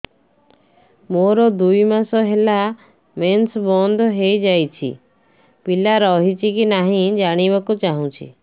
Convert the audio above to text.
ମୋର ଦୁଇ ମାସ ହେଲା ମେନ୍ସ ବନ୍ଦ ହେଇ ଯାଇଛି ପିଲା ରହିଛି କି ନାହିଁ ଜାଣିବା କୁ ଚାହୁଁଛି